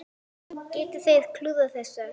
Geta þeir klúðrað þessu?